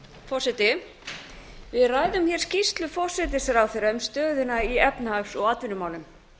forseti við ræðum hér skýrslu forsætisráðherra um stöðuna í efnahags og atvinnumálum